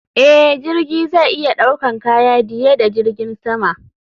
Eh, jirgi zai iya ɗaukan kaya diye da jirgin sama.